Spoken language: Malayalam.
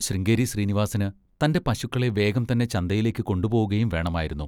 ശൃംഗേരി ശ്രീനിവാസിന് തൻ്റെ പശുക്കളെ വേഗം തന്നെ ചന്തയിലേക്ക് കൊണ്ടുപോവുകയും വേണമായിരുന്നു.